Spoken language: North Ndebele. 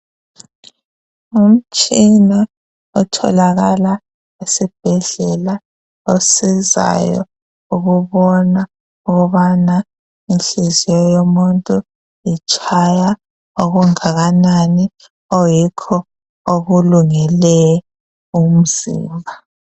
Ngumtshina otholakala esibhedlela ohlolayo ukubona ukubana inhliziyo yomuntu itshaya okungakanani okuyikho okulungele umzimba.